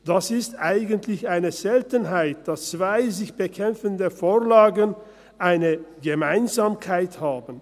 Es ist eigentlich eine Seltenheit, dass zwei sich bekämpfende Vorlagen eine Gemeinsamkeit haben.